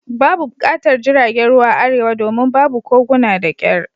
Babu buƙatar jiragen ruwa a Arewa domin babu koguna da kyar